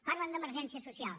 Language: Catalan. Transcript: parlen d’emergència social